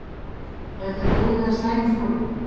Er þetta góð eða slæm þróun?